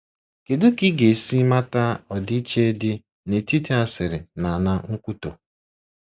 Kedu ka ị ga-esi mata ọdịiche dị n'etiti asịrị na na nkwutọ?